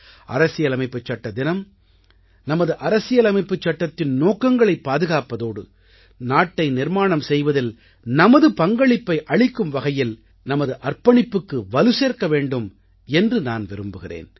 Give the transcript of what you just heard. அரசியலமைப்புச்சட்ட தினம் நமது அரசியலமைப்புச் சட்டத்தின் நோக்கங்களைப் பாதுகாப்பதோடு நாட்டை நிர்மாணம் செய்வதில் நமது பங்களிப்பை அளிக்கும் வகையில் நமது அர்ப்பணிப்புக்கு வலுசேர்க்க வேண்டும் என்று நான் விரும்புகிறேன்